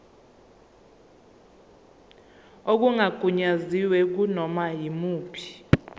okungagunyaziwe kunoma yimuphi